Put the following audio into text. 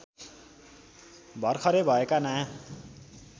भरखरै भएका नयाँ